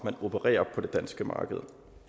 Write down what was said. der opererer